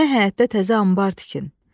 Mənə həyətdə təzə anbar tikin.